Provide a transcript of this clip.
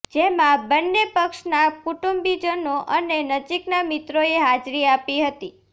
જેમાં બંને પક્ષના કુટુંબીજનો અને નજીકના મિત્રોએ હાજરી આપી હતી